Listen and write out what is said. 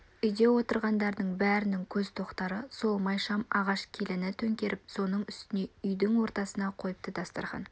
үйде отырғандардың бәрінің көз тоқтатары сол майшам ағаш келіні төңкеріп соның үстіне үйдің ортасына қойыпты дастарқан